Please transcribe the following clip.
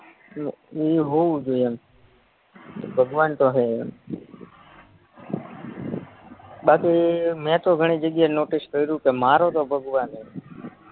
ઇ હોવું જોયે એમ ભગવાનતો હે એમ બાકી મેતો ઘણી જગ્યાએ નોટીસ કર્યું પણ મારોતો ભગવાન હે